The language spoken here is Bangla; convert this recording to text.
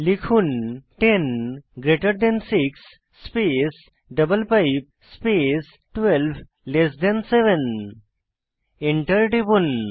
লিখুন 10 greater than 6 space double pipe space 12 less than 7 Enter টিপুন